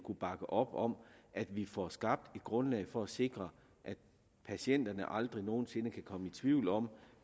bakke op om at vi får skabt et grundlag for at sikre at patienterne aldrig nogen sinde kan komme tvivl om